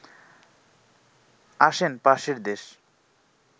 আসেন পাশের দেশ